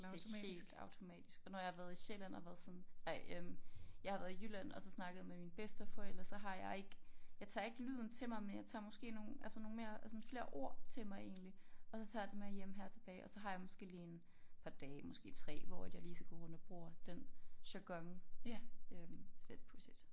Det er helt automatisk og når jeg har været i Sjælland og været sådan ej øh jeg har været i Jylland og så snakket med mine bedsteforældre så har jeg ikke jeg tager ikke lyden til mig men jeg tager måske nogle altså nogle mere sådan flere ord til mig egentlig og så tager jeg det med hjem her tilbage og så har jeg måske lige en par dage måske 3 hvor at jeg lige så går rundt og bruger den jargon øh det pudsigt